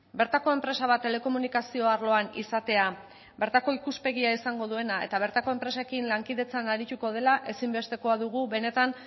bertako enpresa bat telekomunikazio arloan izatea bertako ikuspegia izango duena eta bertako enpresekin lankidetzan arituko dela ezinbestekoa dugu benetan